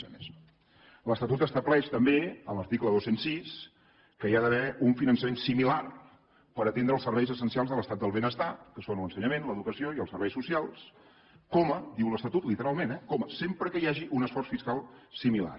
l’estatut estableix també a l’article dos cents i sis que hi ha d’haver un finançament similar per atendre els serveis essencials de l’estat del benestar que són l’ensenyament l’educació i els serveis socials ho diu l’estatut literalment eh sempre que hi hagi un esforç fiscal similar